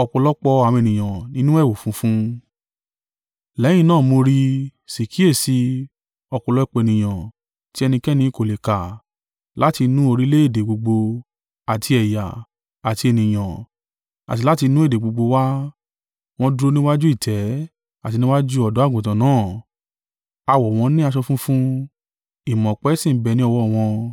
Lẹ́yìn náà, mo ri, sì kíyèsi i, ọ̀pọ̀lọpọ̀ ènìyàn tí ẹnikẹ́ni kò lè kà, láti inú orílẹ̀-èdè gbogbo, àti ẹ̀yà, àti ènìyàn, àti láti inú èdè gbogbo wá, wọn dúró níwájú ìtẹ́, àti níwájú Ọ̀dọ́-Àgùntàn náà, a wọ̀ wọ́n ni aṣọ funfun, imọ̀ ọ̀pẹ si ń bẹ ni ọwọ́ wọn.